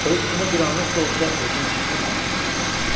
Oyuqsuzda bir anlıq da olsa özünü çirkli mənzilində gördü.